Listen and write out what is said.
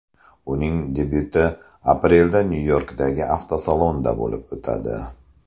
Uning debyuti aprelda Nyu-Yorkdagi avtosalonda bo‘lib o‘tadi.